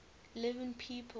living people